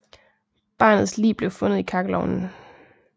Barnets lig blev fundet i kakkelovnen